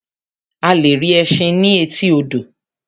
A lè rí ẹṣin ní etí odò.